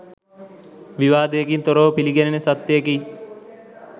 විවාදයකින් තොරව පිළිගැනෙන සත්‍යයකි.